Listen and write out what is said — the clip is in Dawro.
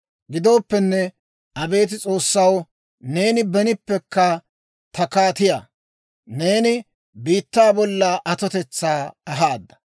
Gidooppenne, abeet S'oossaw, neeni benippekka ta kaatiyaa; neeni biittaa bolla atotetsaa ahaada.